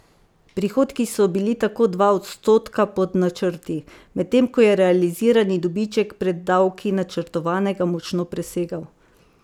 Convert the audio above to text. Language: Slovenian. Prihodki so bili tako dva odstotka pod načrti, medtem ko je realizirani dobiček pred davki načrtovanega močno presegel.